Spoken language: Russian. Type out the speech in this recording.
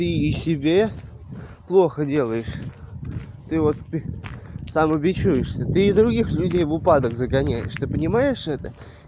ты и себе плохо делаешь ты вот самобичуешься ты и других людей в упадок загоняешь ты понимаешь это